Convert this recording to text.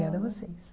Obrigada a vocês.